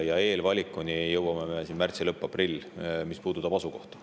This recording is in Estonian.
Ja eelvalikuni jõuame märtsi lõpus või aprillis, mis puudutab asukohta.